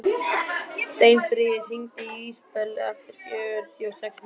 Steinfríður, hringdu í Ísabellu eftir fjörutíu og sex mínútur.